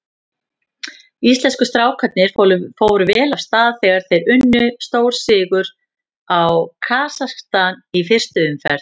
Íslensku strákarnir fóru vel af stað þegar þeir unnu stórsigur á Kasakstan í fyrstu umferð.